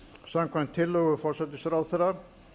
samkvæmt tillögu forsætisráðherra að